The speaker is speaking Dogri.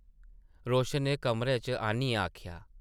रोशन नै कमरे च आनियै आखेआ ।